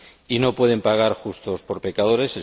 Y no pueden pagar justos por pecadores.